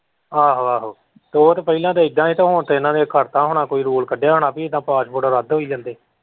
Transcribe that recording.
ਆਹੋ ਆਹੋ ਉਹ ਤੇ ਪਹਿਲਾਂ ਤੇ ਇੱਦਾਂ ਹੀ ਹੁਣ ਤੇ ਉਹਨਾਂ ਨੇ ਕਰਤਾ ਹੋਣਾ ਕੋਈ rule ਕੱਢਿਆ ਹੋਣਾ ਵੀ ਇੱਦਾਂ passport ਰੱਦ ਹੋਈ ਜਾਂਦੇ।